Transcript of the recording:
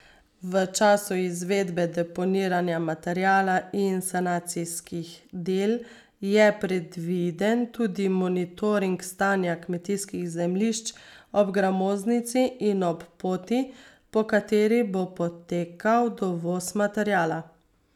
V času izvedbe deponiranja materiala in sanacijskih del je predviden tudi monitoring stanja kmetijskih zemljišč ob gramoznici in ob poti, po kateri bo potekal dovoz materiala.